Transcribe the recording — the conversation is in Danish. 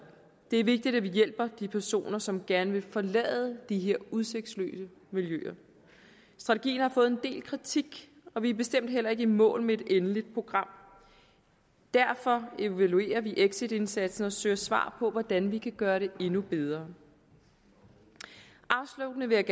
det er vigtigt at vi hjælper de personer som gerne vil forlade de her udsigtsløse miljøer strategien har fået en del kritik og vi er bestemt heller ikke i mål med et endeligt program derfor evaluerer vi exitindsatsen og søger svar på hvordan vi kan gøre det endnu bedre afsluttende vil